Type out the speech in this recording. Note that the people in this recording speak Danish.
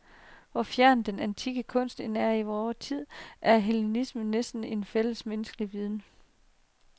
Hvor fjern den antikke kunst end er os i tid, er hellenismen næsten en fællesmenneskelig viden.